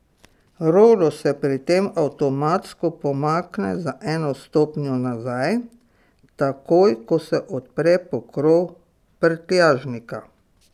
Rolo se pri tem avtomatsko pomakne za eno stopnjo nazaj, takoj ko se odpre pokrov prtljažnika.